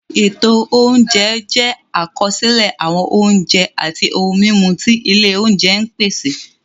Ètò oúnjẹ jẹ́ àkọsílẹ̀ àwọn oúnjẹ àti ohun-mímu tí ilé oúnjẹ ń pèsè.